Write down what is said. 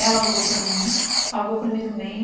Ela alugou para mim, pagou o primeiro mês.